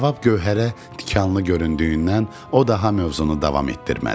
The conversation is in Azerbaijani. Cavab Gövhərə tikanlı göründüyündən o daha mövzunu davam etdirmədi.